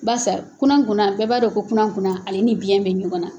Barisa kunakunan bɛɛ b'a dɔn ko kunakunan ale ni biyɛn bɛ ɲɔgɔnna